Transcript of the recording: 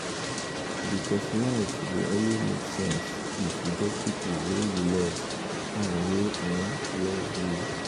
becos life go only make sense if you get pipo wey you love and wey um love you